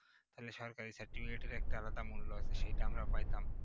তাহলে সরকারি certificate এর একটা আলাদা মূল্য আছে সেটা যদি আমরা পাইতাম